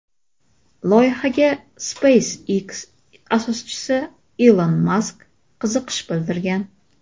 Loyihaga SpaceX asoschisi Ilon Mask qiziqish bildirgan.